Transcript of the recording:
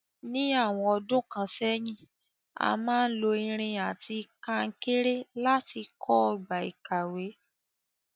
Ní àwon odún kan sẹ́hìn, a máa n lo irin àti kankéré láti kó ogbà ìkàwé